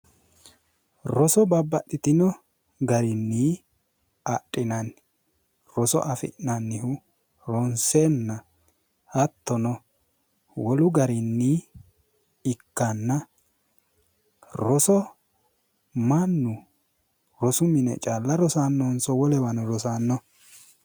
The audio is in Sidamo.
Roso babbaxxitino garinni adhinanni roso afi'nannihu ronsenna hattono wolu garinni ikkanna roso mannu rosu mine calla rosannonso wolewano rosanno?